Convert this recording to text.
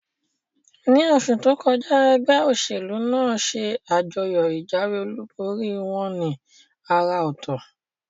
Ní osù tókọjá, egbé òsèlú nàá se àjọyò ìjáwé olúborí wón ní àrà òtò